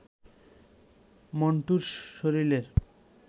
মন্টুর শরীরের